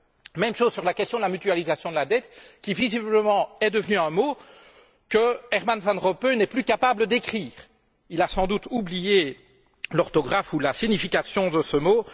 Il en va de même pour la question de la mutualisation de la dette qui, visiblement, est devenue un mot que Herman Van Rompuy n'est plus capable d'écrire. Il a sans doute oublié l'orthographe ou la signification de ce mot.